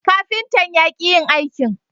Kafintan ya ki yin aikin